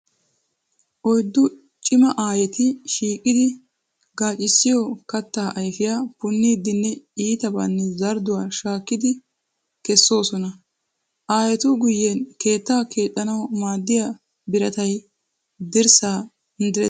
Oyddu cima aayetti shiiqiddi gaaccissiyo katta ayfiya punniidinne iittabanne zardduwa shaakkiddi kessoosonna. Aayettu guyen keetta keexxanawu maadiya biratay dirssa direttiis.